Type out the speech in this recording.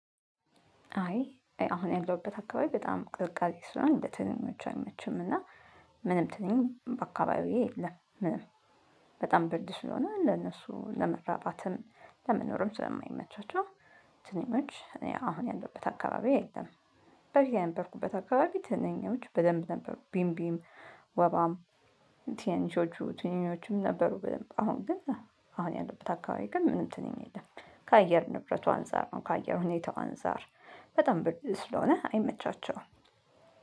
አይ አሁን ያለሁበት አካባቢ በጣም ቅዝቃዜ ስለሆነ እንደ ትንኞቹ አይመችም እና ምንም ትንኝ አካባቢዬ የለም፤ ምንም በጣም ብርድ ስለሆነ ለነሱ ለመረባትም ለመኖርም ስለማይመቻቸው ትንኞች እኔ አሁን ያለውበት አካባቢ የለም። በፊት የነበርኩበት አካባቢ ትንኞች በደንብ ነበሩ ቢምቢም፤ ወባም ትንንሾቹ ትንኞቹም ነበሩ በደንብ፤ አሁን ግን አሁን ያለውበት አካባቢ ግን ምንም ትንኝ የለም። ከአየር ንብረቱ አንፃር ነው፥ ከአየር ሁኔታው አንፃር በጣም ብርድ ስለሆነ አይመቻቸውም።